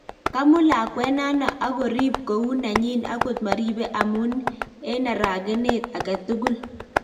Kamut lakwet nano ak korip kou nenyin okot maripe amun eng aragenet agetugul